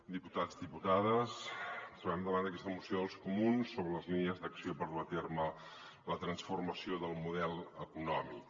diputats diputades ens trobem davant d’aquesta moció dels comuns sobre les línies d’acció per dur a terme la transforma·ció del model econòmic